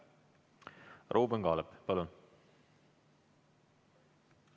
Ruuben Kaalep, palun!